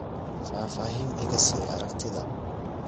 faafaahin iga sii aragtida